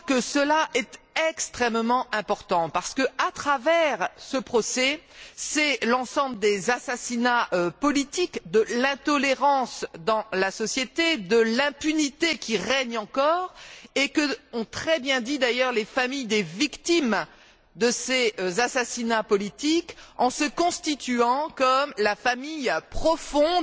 Ce fait est extrêmement important parce que, à travers ce procès, c'est l'ensemble des assassinats politiques, l'intolérance de la société et l'impunité qui règne encore que l'on juge, ce qu'ont très bien dit d'ailleurs les familles des victimes de ces assassinats politiques en se considérant comme la famille profonde